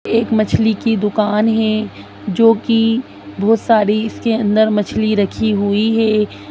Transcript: एक मछली की दुकान है जो कि बहोत सारी इसके अंदर मछली रखी हुई है।